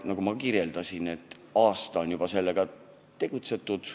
Juba aasta aega on sellega tegeldud.